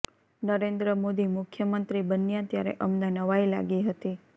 નરેન્દ્ર મોદી મુખ્યમંત્રી બન્યા ત્યારે અમને નવાઇ લાગી હતી